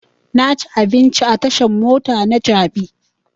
Na ci abinci a tashan mota ta jabi